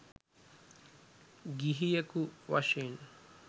ගිහියෙකු වශයෙන්